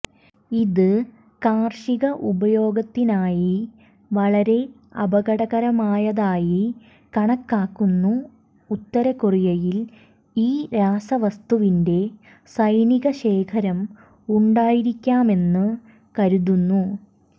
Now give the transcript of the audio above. ഇത് കാർഷിക ഉപയോഗത്തിനായി വളരെ അപകടകരമായതായി കണക്കാക്കുന്നു ഉത്തര കൊറിയയിൽ ഈ രാസവസ്തുവിന്റെ സൈനിക ശേഖരം ഉണ്ടായിരിക്കാമെന്ന് കരുതുന്നു